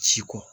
Si ko